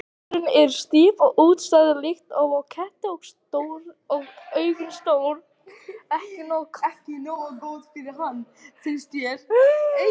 Eyrun eru stíf og útstæð líkt og á ketti og augun stór.